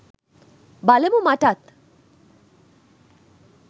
බලමු මටත්